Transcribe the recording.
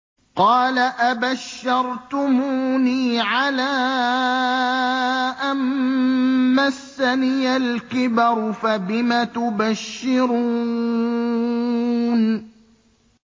قَالَ أَبَشَّرْتُمُونِي عَلَىٰ أَن مَّسَّنِيَ الْكِبَرُ فَبِمَ تُبَشِّرُونَ